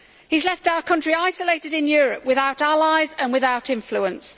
He has left our country isolated in Europe, without allies and without influence.